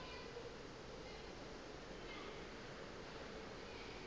le yena o be a